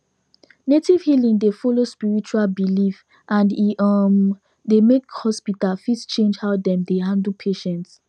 native healing dey follow spiritual belief and e um dey make hospital fit change how dem dey handle patients